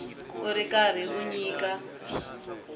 u ri karhi u nyika